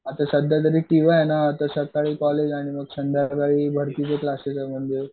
आता सध्या तरी टीवाय आहे ना तर सध्या तरी कॉलेज आणि संध्याकाळी भरतीची क्लासेस